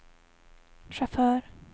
chaufför